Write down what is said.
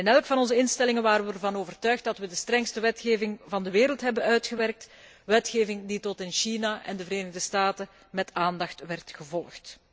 In elk van onze instellingen waren we ervan overtuigd dat we de strengste wetgeving van de wereld hadden uitgewerkt, wetgeving die tot in China en de Verenigde Staten met aandacht werd gevolgd.